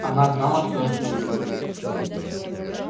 она знала что эшли любит её